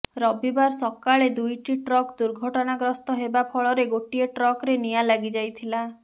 ରବିବାର ସକାଳେ ଦୁଇଟି ଟ୍ରକ ଦୁର୍ଘଟଣାଗ୍ରସ୍ତ ହେବା ଫଳରେ ଗୋଟିଏ ଟ୍ରକରେ ନିଆଁ ଲାଗି ଯାଇଥିଲା